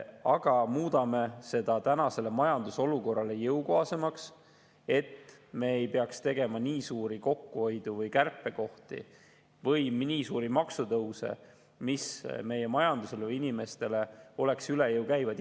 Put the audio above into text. Aga me muudame seda tänasele majandusolukorrale jõukohasemaks, et me ei peaks tegema nii suuri kokkuhoiu- või kärpekohti või nii suuri maksutõuse, mis meie majandusele, inimestele oleksid üle jõu käivad.